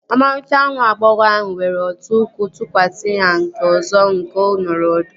Ọmarịcha nwa agbọghọ ahụ were otu ụkwụ tụkwasị na nke ọzọ oge ọ nọrọ ọdụ